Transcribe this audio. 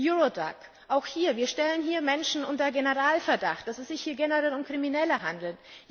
Eurodac Auch hier stellen wir Menschen unter Generalverdacht, dass es sich hier generell um Kriminelle handelt.